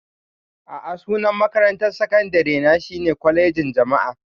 A'a, sunan makarantar sakandare na shine Kwalejin Jama'a.